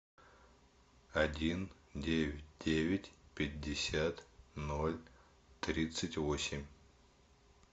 один девять девять пятьдесят ноль тридцать восемь